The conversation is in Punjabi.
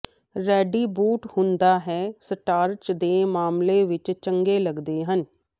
ਰੈਡੀ ਬੂਟ ਹੁੰਦਾ ਹੈ ਸਟਾਰਚ ਦੇ ਮਾਮਲੇ ਵਿਚ ਚੰਗੇ ਲੱਗਦੇ ਹਨ